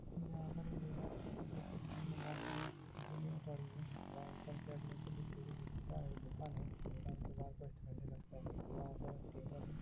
यहां पर एक दीवार हैं । जिसके सामने मौसम पड़ी हैं। वहां ऊपर चढ़ने के लिए सीढ़ी । दुकान के बाहर हैं। वहां पर एक टेबल ह--